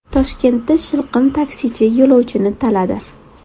Toshkentda shilqim taksichi yo‘lovchini taladi.